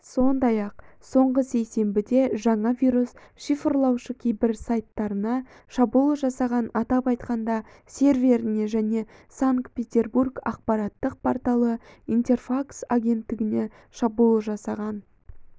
сондай-ақ соңғы сейсенбіде жаңа вирус-шифрлаушы кейбір сайттарына шабуыл жасаған атап айтқанда серверіне және санкт-петербург ақпараттық порталы интерфакс агенттігіне шабуыл жасаған